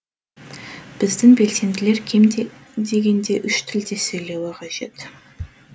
біздің белсенділер кем дегенде үш тілде сөйлеуі қажет